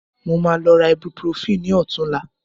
Mo máa lọ ra ibuprofen ní ọ̀tunla